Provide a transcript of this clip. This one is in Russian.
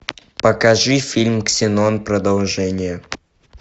покажи фильм ксенон продолжение